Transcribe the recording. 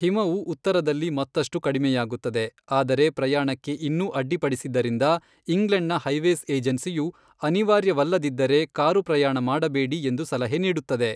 ಹಿಮವು ಉತ್ತರದಲ್ಲಿ ಮತ್ತಷ್ಟು ಕಡಿಮೆಯಾಗುತ್ತದೆ ಆದರೆ ಪ್ರಯಾಣಕ್ಕೆ ಇನ್ನೂ ಅಡ್ಡಿಪಡಿಸಿದ್ದರಿಂದ ಇಂಗ್ಲೆಂಡ್ನ ಹೈವೇಸ್ ಏಜೆನ್ಸಿಯು, ಅನಿವಾರ್ಯವಲ್ಲದಿದ್ದರೆ ಕಾರು ಪ್ರಯಾಣ ಮಾಡಬೇಡಿ ಎಂದು ಸಲಹೆ ನೀಡುತ್ತದೆ.